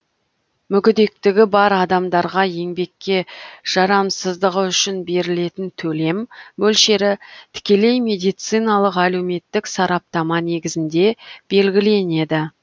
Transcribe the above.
мүгедектігі бар адамдарға еңбекке жарамсыздығы үшін берілетін төлем мөлшері тікелей медициналық әлеуметтік сараптама негізінде белгіленеді